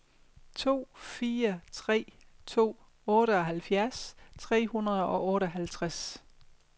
to fire tre to otteoghalvfjerds tre hundrede og otteoghalvtreds